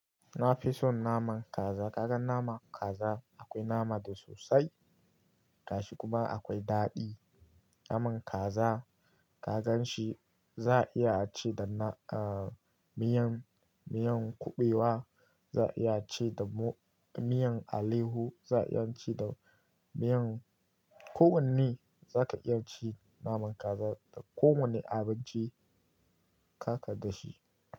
Na fi son naman kaza. Kaga naman kaza akwai nama da sosai, gashi kuma akwai daɗi. Naman kaza kagan shi za a iya ci da na-- ah, miyan, miyan kuɓewa, za a iya ci da mu-- miyan alehu, za a iya ci da miyan-- ko wanne za ka iya ci naman kaza da ko wanne abinci kaka da shi.